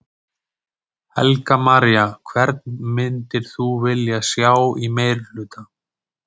Helga María: Hvern myndir þú vilja sjá í meirihluta?